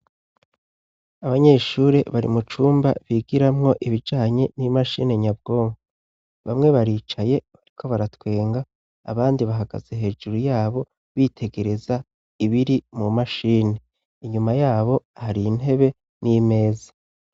Abanyeshuri bari mu cumba bigiramwo ibijanye n'imashini nyabwongo, bamwe baricaye bariko baratwenga ,abandi bahagaze hejuru yabo bitegereza ibiri mu mashini, inyuma yabo har' intebe ,n'imeza.